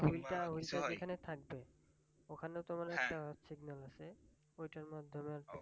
ওইটা ওইটা যেখানে থাকবে ওখানে তোমার একটা signal আছে ওইটার মাধ্যমে